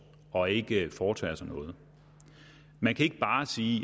og ikke foretager sig noget man kan ikke bare sige